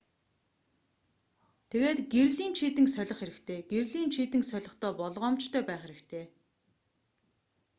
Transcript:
тэгээд гэрлийн чийдэнг солих хэрэгтэй гэрлийн чийдэнг солихдоо болгоомжтой байх хэрэгтэй